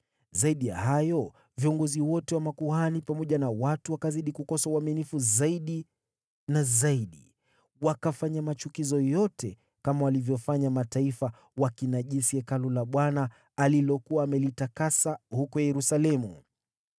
Zaidi ya hayo viongozi wote wa makuhani pamoja na watu wakazidi kukosa uaminifu zaidi na zaidi, wakafanya machukizo yote kama walivyofanya mataifa wakinajisi Hekalu la Bwana alilokuwa amelitakasa huko Yerusalemu.